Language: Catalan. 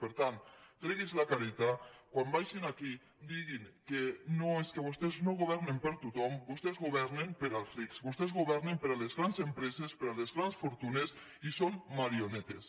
per tant tregui’s la careta quan vinguin aquí diguin que no és que vostès no go·vernen per a tothom vostès governen per als rics vos·tès governen per a les grans empreses per a les grans fortunes i són marionetes